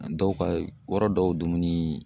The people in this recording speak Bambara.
Dɔw ka yɔrɔ dɔw dumuni